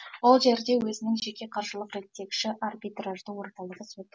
ол жерде өзінің жеке қаржылық реттегіші арбитражды орталығы соты